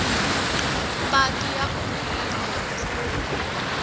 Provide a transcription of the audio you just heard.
mapatu ya onhile hi mpfula